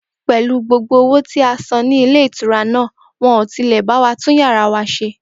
Pè̩lú gbogbo owó tí a san ní ilé ìtura náà, wo̩n ò tilè̩ bá wa tún yàrá wa s̩e